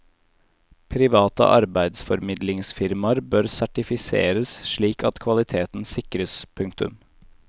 Private arbeidsformidlingsfirmaer bør sertifiseres slik at kvaliteten sikres. punktum